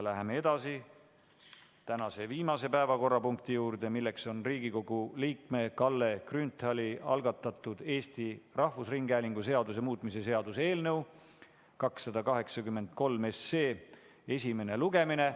Läheme tänase viimase päevakorrapunkti juurde, milleks on Riigikogu liikme Kalle Grünthali algatatud Eesti Rahvusringhäälingu seaduse muutmise seaduse eelnõu 283 esimene lugemine.